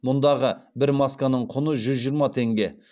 мұндағы бір масканың құны жүз жиырма теңге